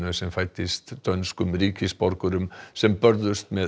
sem fæddist dönskum ríkisborgurum sem börðust með